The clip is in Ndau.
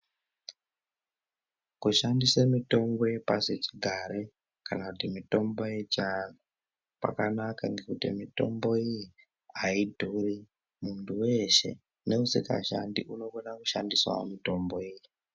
Kushandise mitombo yepashi chigare kana kuti mitombo yechiantu kwakanaka. Ngekuti mitombo iyi haidhuri muntu veshe neusikashandi unokona kushandisavo mitombo iyi.